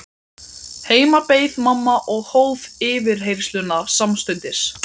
Heima beið mamma og hóf yfirheyrsluna samstundis.